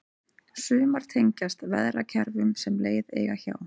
sumar tengjast veðrakerfum sem leið eiga hjá